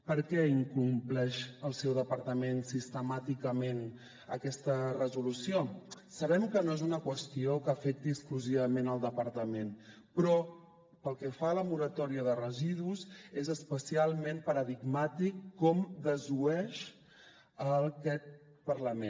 per què incompleix el seu departament sistemàticament aquesta resolució sabem que no és una qüestió que afecti exclusivament el departament però pel que fa a la moratòria de residus és especialment paradigmàtic com desoeix aquest parlament